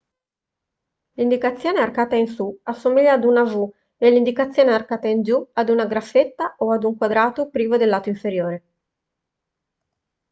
l'indicazione arcata in su assomiglia a una v e l'indicazione arcata in giù ad una graffetta o a un quadrato privo del lato inferiore